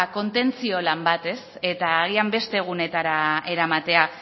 kontentzio lan bat eta agian beste egunetara eramatea